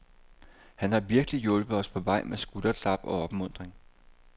Han har virkelig hjulpet os på vej med skulderklap og opmuntring.